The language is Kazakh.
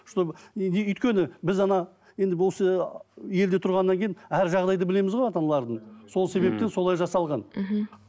чтобы өйткені біз енді осы елде тұрғаннан кейін әр жағдайды білеміз ғой ата аналардың сол себептен солай жасалған мхм